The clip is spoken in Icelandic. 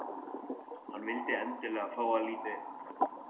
Hann vill endilega fá að líta inn.